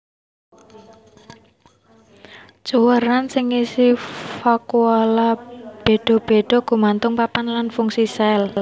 Cuwèran sing ngisi vakuola béda béda gumantung papan lan fungsi sel